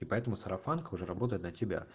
поэтому сарафанка уже работает на тебя